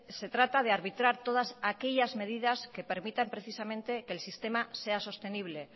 se trata de arbitrar todas aquellas medidas que permitan precisamente que el sistema sea sostenible